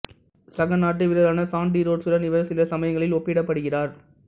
சக நாட்டு வீரரான சான்டி ரோட்சுடன் இவர் சில சமயங்களில் ஒப்பிடப்படுகிறார்